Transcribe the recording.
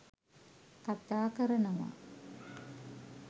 කතා කරනව.